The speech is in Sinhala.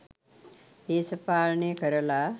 දේශපාලනය කරලා.